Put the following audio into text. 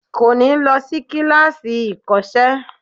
Kò ní lọ sí kíláàsì ìkọ́sẹ́